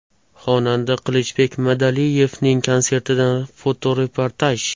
Xonanda Qilichbek Madaliyevning konsertidan fotoreportaj.